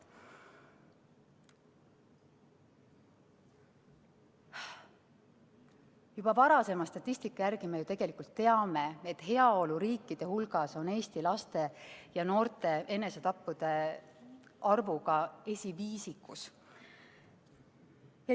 Juba varasema statistika järgi me ju tegelikult teame, et heaoluriikide hulgas on Eesti laste ja noorte enesetappude arvuga esiviisikus.